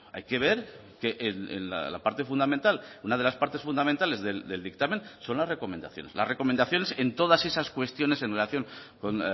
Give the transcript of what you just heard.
hay que ver que en la parte fundamental una de las partes fundamentales del dictamen son las recomendaciones las recomendaciones en todas esas cuestiones en relación con